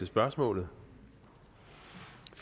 spørgsmål